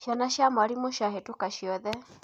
Ciana cia mwarimũ ciahĩtũka ciothe.